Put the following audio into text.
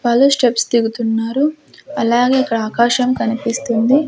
వాళ్లు స్టెప్స్ దిగుతున్నారు అలాగే ఇక్కడ ఆకాశం కనిపిస్తుంది.